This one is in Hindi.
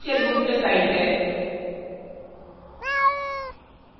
यह official मुख्य site है